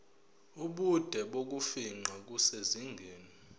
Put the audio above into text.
ubude bokufingqa kusezingeni